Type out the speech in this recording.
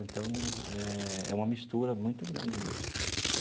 Então, é uma mistura muito grande mesmo.